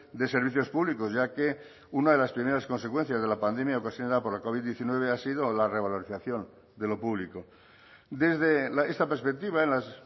de servicios públicos ya que una de las primeras consecuencias de la pandemia ocasionada por la covid diecinueve ha sido la revalorización de lo público desde esta perspectiva en las